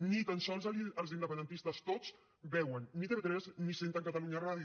ni tan sols els independentistes tots veuen ni tv3 ni senten catalunya ràdio